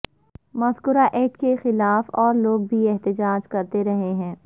مذکورہ ایکٹ کے خلاف اور لوگ بھی احتجاج کرتے رہے ہیں